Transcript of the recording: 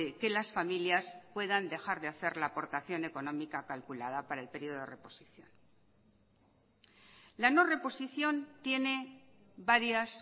que las familias puedan dejar de hacer la aportación económica calculada para el periodo de reposición la no reposición tiene varias